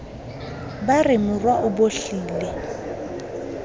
ba re morwa o bohlile